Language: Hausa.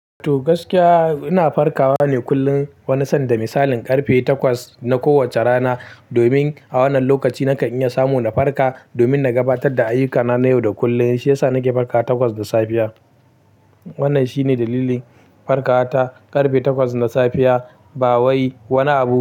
To gaskiya ina farkawa ne kullum wani sanda misalin karfe takwas na kowacce rana. Domin a wannan lokaci na kan iya samu na farka domin na gabatar da ayyukana na yau da kullum. Shi yasa nake farkawa takwas da safiya. Wannan shine dalilin farkawata karfe takwas na safiya ba wai wani abu.